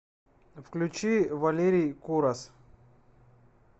включи валерий курас